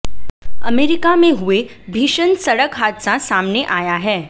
America में हुए भीषण सड़क हादसा सामने आया है